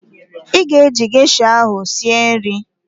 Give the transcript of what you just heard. Ị ga-eji gesha ahụ sie nri?